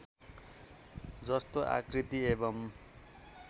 जस्तो आकृति एवम्